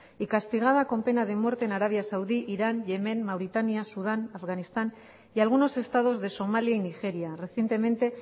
y castigada con pena de muerte en arabia saudí irán yemen mauritania sudán afganistán y algunos estados de somalia y nigeria recientemente